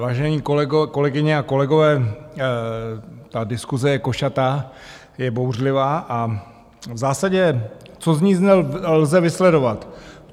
Vážené kolegyně a kolegové, ta diskuse je košatá, je bouřlivá a v zásadě, co z ní lze vysledovat?